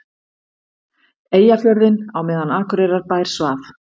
Eyjafjörðinn á meðan Akureyrarbær svaf.